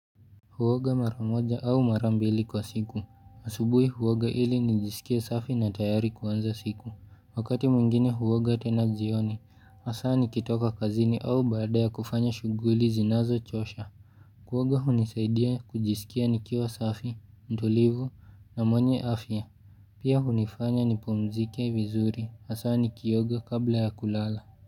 Huoga maramoja au marambili kwa siku. Asubui huoga ili nijisikie safi na tayari kuanza siku. Wakati mwingine huoga tena zioni. Hasaa nikitoka kazini au baada ya kufanya shuguli zinazo chosha. Kuoga hunisaidia kujisikia nikiwa safi, mtulivu na mwenye afya. Pia hunifanya nipumzike vizuri. Hasaa nikioga kabla ya kulala.